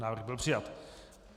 Návrh byl přijat.